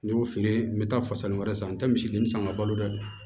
N y'o feere n bɛ taa fasani wɛrɛ san n tɛ misiden san ka balo dɛ